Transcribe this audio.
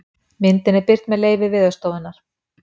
Myndin er birt með leyfi Veðurstofunnar.